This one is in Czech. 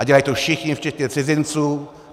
A dělají to všichni včetně cizinců.